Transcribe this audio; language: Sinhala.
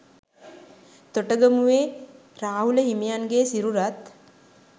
තොටගමුවේ රාහුල හිමියන්ගේ සිරුරත්